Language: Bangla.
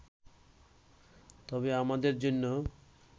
তবে আমাদের জন্য